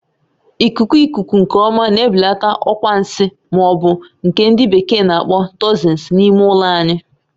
Ikuku ikuku nke ọma na-ebelata ọkwa nsi ma ọ bụ nke ndị bekee n'akpọ "toxins" n'ime ụlọ anyị